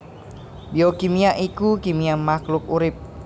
Biokimia iku kimia mahluk urip